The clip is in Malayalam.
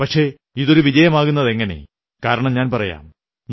പക്ഷേ ഇതൊരു വിജയമാകുന്നതെങ്ങനെ കാരണം ഞാൻ പറയാം